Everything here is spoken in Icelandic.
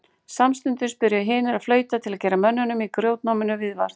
Samstundis byrjuðu hinir að flauta til að gera mönnunum í grjótnáminu viðvart.